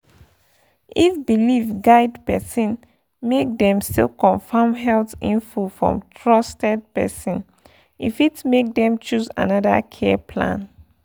if belief guide person make dem still confirm health info from trusted place — e fit make dem choose another care plan.